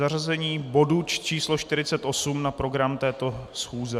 Zařazení bodu číslo 48 na program této schůze?